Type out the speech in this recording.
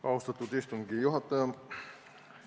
Austatud istungi juhataja!